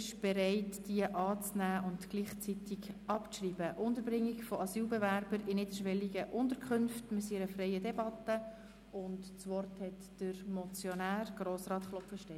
Sie haben mit 103 Ja- gegen 9 Nein-Stimmen bei 11 Enthaltungen entschieden, den Bericht zur Kenntnis zu nehmen und die beiden Motionen abzuschreiben.